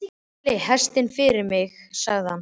Söðlið hestinn fyrir mig, sagði hann.